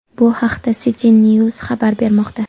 Bu haqda CityNews xabar bermoqda .